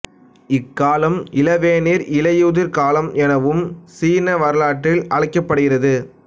இக்காலம் இளவேனில் இலையுதிர் காலம் எனவும் சீன வரலாற்றில் அழைக்கப்படுகிறது